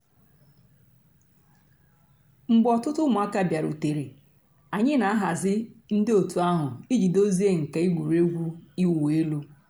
mgbè òtùtù ǔ́mụ̀àkà bịàrùtèrè ànyị̀ nà-àhàzì ńdí ọ̀tù àhụ̀ íjì dòzìe nkà ègwè́régwụ̀ ị̀wụ̀ èlù.